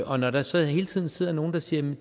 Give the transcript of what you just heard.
og når der så hele tiden sidder nogle der siger at det